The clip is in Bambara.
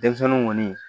Denmisɛnninw kɔni